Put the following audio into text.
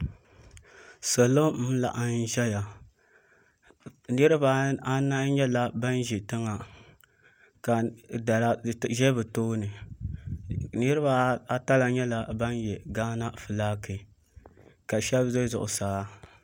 Salo n laɣam ʒɛya niraba anahi nyɛla ban ʒi tiŋa ka dala ʒɛ bi tooni niraba ata la nyɛla ban yɛ gaana fulaaki ka shab ʒɛ zuɣusaa